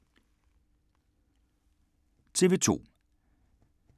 TV 2